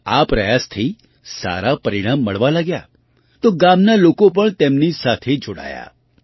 તેમના આ પ્રયાસથી સારાં પરિણામ મળવાં લાગ્યાં તો ગામના લોકો પણ તેમની સાથે જોડાયા